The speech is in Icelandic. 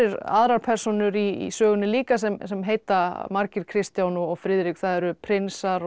aðrar persónur í sögunni líka sem sem heita margir Kristján og Friðrik það eru prinsar og